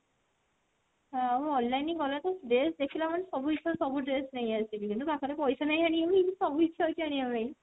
ଆଉ online ହିଁ ଭଲ dress ଦେଖିଲା ମାନେ ସବୁ ଇଛା ହଉଛି ସବୁ dress ନେଇ ଆସିବି କିନ୍ତୁ ପାଖ ରେ ପଇସା ନାହିଁ ଆଣିବାକୁ କିନ୍ତୁ ସବୁ ଇଛା ହଉଛି ଆଣିବା ପାଇଁ।